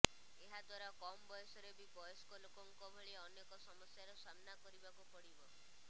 ଏହା ଦ୍ୱାରା କମ ବୟସରେ ବି ବୟସ୍କ ଲୋକଙ୍କ ଭଳି ଅନେକ ସମସ୍ୟାର ସାମ୍ନା କରିବାକୁ ପଡିବ